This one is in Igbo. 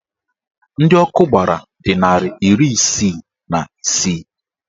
Ndị ọkụ gbara dị narị iri isii na isii